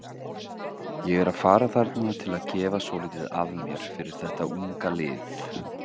Ég er að fara þarna til að gefa svolítið af mér fyrir þetta unga lið.